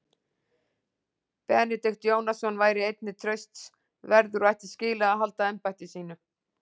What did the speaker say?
Benedikt Jónasson, væri einnig trausts verður og ætti skilið að halda embætti sínu.